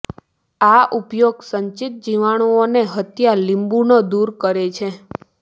આ ઉપાય સંચિત જીવાણુઓને હત્યા લીંબુંનો દૂર કરે છે